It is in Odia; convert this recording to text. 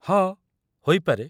ହଁ, ହୋଇପାରେ।